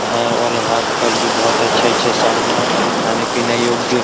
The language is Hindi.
है और यहां पर भी बहुत अच्छे-अच्छे सामान एवं खाने-पीने योग्य --